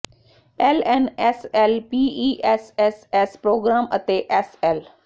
L N S L P E S S S program ਅਤੇ S L